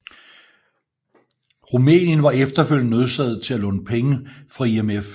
Rumænien var efterfølgende nødsaget til at låne penge fra IMF